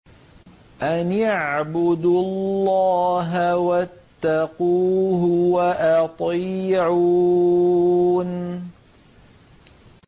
أَنِ اعْبُدُوا اللَّهَ وَاتَّقُوهُ وَأَطِيعُونِ